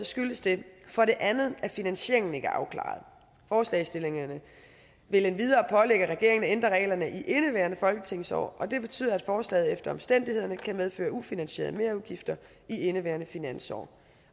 skyldes det for det andet at finansieringen ikke er afklaret forslagsstillerne vil endvidere pålægge regeringen at ændre reglerne i indeværende folketingsår og det betyder at forslaget efter omstændighederne kan medføre ufinansierede merudgifter i indeværende finansår